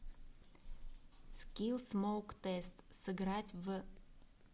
скилл смоук тест сыграть в